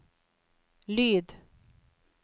lyd